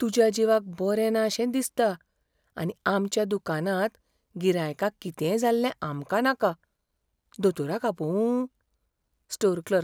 तुज्या जिवाक बरें ना शें दिसता आनी आमच्या दुकानांत गिरायकांक कितेंय जाल्लें आमकां नाका. दोतोराक आपोवूं? Store clerk